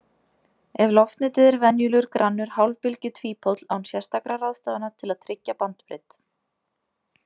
Ef loftnetið er venjulegur grannur hálfbylgjutvípóll án sérstakra ráðstafana til að tryggja bandbreidd.